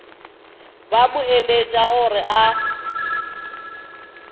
ba mo eletša gore a